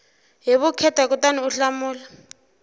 hi vukheta kutani u hlamula